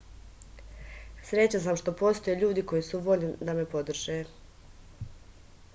srećan sam što postoje ljudi koji su voljni da me podrže